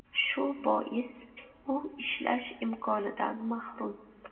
Shu bois u ishlash imkonidan mahrum.